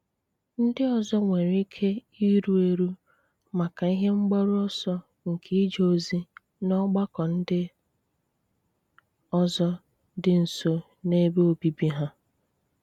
Ndị́ òzọ̀ nwèrè íké ìrù érù maka ihe mgbàrú ọ̀sọ̀ nke ìje ozi n’ọ̀gbàkọ́ ndị́ òzọ̀ dị́ nso n’ebe óbìbì ha.